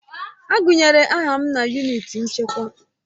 Agụnyere aha m na yunịti nchekwa.